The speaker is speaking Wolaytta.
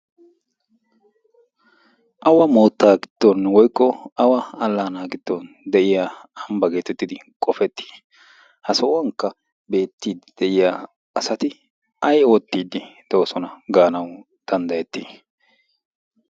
Awa mootta giddon woykk awa alana giddon de'iyaa soho getettidi qofetti. ha sohuwan de'iyaa asati ay oottidi de'oosona gaanaw danddayetti?